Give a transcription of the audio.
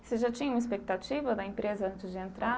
Você já tinha uma expectativa da empresa antes de entrar?